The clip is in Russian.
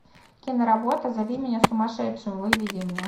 киноработа зови меня сумасшедшим выведи мне